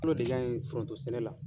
kɔmi an ye foronto sɛnɛ la